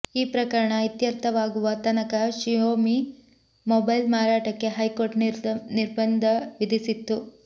ಈ ಪ್ರಕರಣ ಇತ್ಯರ್ಥವಾಗುವ ತನಕ ಶಿಯೋಮಿ ಮೊಬೈಲ್ ಮಾರಾಟಕ್ಕೆ ಹೈಕೋರ್ಟ್ ನಿರ್ಬಂಧ ವಿಧಿಸಿತ್ತು